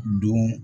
Don